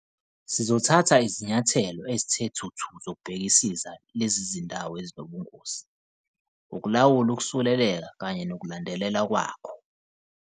"Sizothatha izinyathelo ezithe thuthu zokubhekisisa lezi zindawo ezinobungozi, ukulawula ukusuleleka kanye nokulandelelwa kwakho."